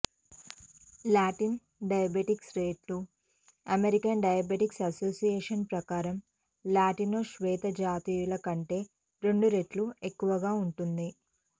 Latin diabetes rate American diabetes association ప్రకారం Latino శ్వేతజాతీయుల కంటే రెండు రెట్లు ఎక్కువగా ఉంటుంది